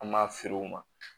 An b'a feere u ma